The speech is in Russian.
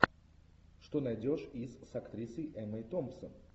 что найдешь из с актрисой эммой томпсон